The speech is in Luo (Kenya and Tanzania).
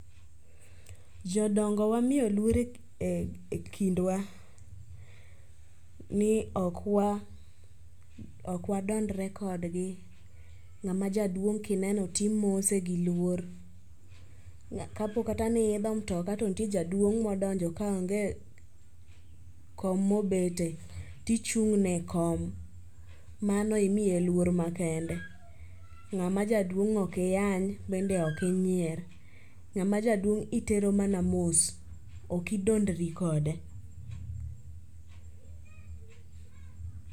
Jodongo wamiyo luor ekindwa ni ok wa ok wadondre kodgi. Ng'ama jaduong' kineno to imose gi luor. Kapo kata ni iidho mutoka to nitie jaduong modonjo kaonge kom mobete, tichung' ne ekom. Mano imiye luor makende. Ng'ama jaduong' ok iyany bende ok inyier. Ng'ama jaduong' itero mana mos. Ok idondri kode.